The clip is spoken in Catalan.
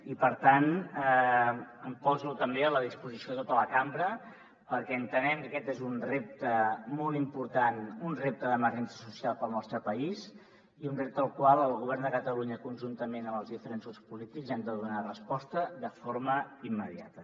i per tant em poso també a la disposició de tota la cambra perquè entenem que aquest és un repte molt important un repte d’emergència social per al nostre país i un repte al qual el govern de catalunya conjuntament amb els diferents grups polítics hem de donar resposta de forma immediata